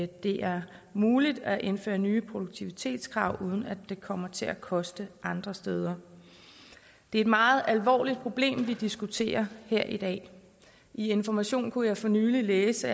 det er muligt at indføre nye produktivitetskrav uden at det kommer til at koste andre steder det er et meget alvorligt problem vi diskuterer her i dag i information kunne jeg for nylig læse